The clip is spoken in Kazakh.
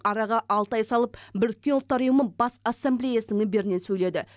араға алты ай салып біріккен ұлттар ұйымы бас ассамблеясының мінберінен сөйледі